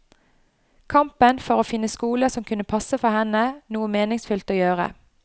Kampen for å finne skoler som kunne passe for henne, noe meningsfylt å gjøre.